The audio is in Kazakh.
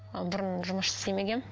ы бұрын жұмыс істемегенмін